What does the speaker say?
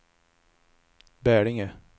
Bälinge